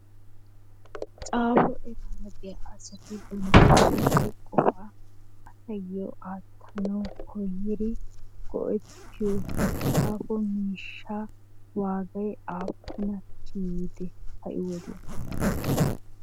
Xappo eraraa de'iyaa asatti bantta huphe qopaa asasi attanawu koyidi go'ettiyo xaffo mishaa waggayi apunna ciyidde ha'i wodiyanni?